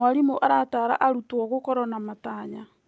Mwarimũ arataara arutwo gũkorwo na matanya.